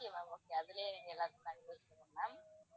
okay அது லே எல்லாத்தையும் இருக்கு ma'am